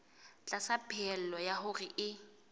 tlasa pehelo ya hore e